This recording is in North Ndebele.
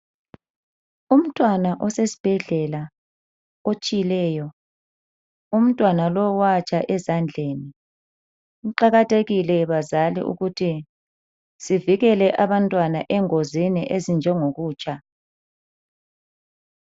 Umntwana osesibhedlela otshileyo umntwana lowu watsha ezandleni, kuqakathekile bazali ukuthi sivikele abantwana engozini ezinje ngo kutsha.